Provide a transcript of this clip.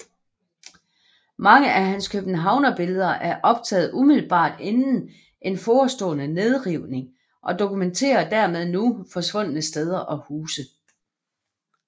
Mange af hans københavnerbilleder et optaget umiddelbart inden en forestående nedrivning og dokumenterer dermed nu forsvundne steder og huse